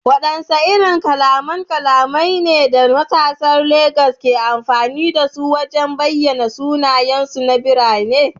Wadanne irin kalaman kalamai ne da matasan Legas ke amfani da su wajen bayyana sunayensu na birane?